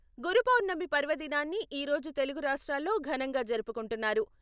గురు పౌర్ణమి పర్వదినాన్ని ఈరోజు తెలుగు రాష్ట్రాల్లో ఘనంగా జరుపుకుంటున్నారు.